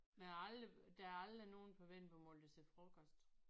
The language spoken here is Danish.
Men jeg har aldrig der er aldrig nogen på vendelbomål der siger frokost